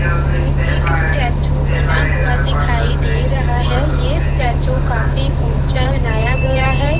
Image मे एक statue बना हुआ दिखाई दे रहा है ये स्टेचू काफी ऊँचा बनाया गया है।